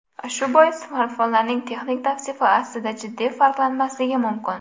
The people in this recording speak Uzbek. Shu bois smartfonlarning texnik tavsifi aslida jiddiy farqlanmasligi mumkin.